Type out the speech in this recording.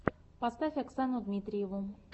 поставь оксану дмитриеву